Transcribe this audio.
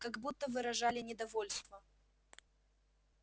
как будто выражали недовольство